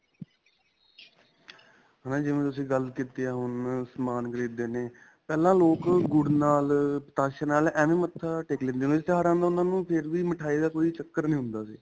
ਹਾਂ, ਜਿਵੇਂ ਤੁਸੀਂ ਗੱਲ ਕੀਤੀ ਹੈ, ਹੁਣ ਸਮਾਨ ਖਰੀਦਦੇ ਨੇ, ਪਹਿਲਾਂ ਲੋਕ ਗੁੜ ਨਾਲ, ਪਤਾਸ਼ੇ ਨਾਲ ਐਂਵੇ ਮੱਥਾ ਟੇਕ ਲੈਂਦੇ ਹੁੰਦੇ ਸੀ, ਤਿਉਹਾਰਾਂ ਨਾਲ ਉਨ੍ਹਾਂ ਨੂੰ ਫੇਰ ਵੀ ਮਿਠਾਈ ਦਾ ਕੋਈ ਚਕਰ ਨਹੀ ਹੁੰਦਾ ਸੀ.